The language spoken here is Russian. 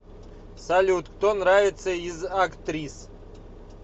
салют кто нравится из актрис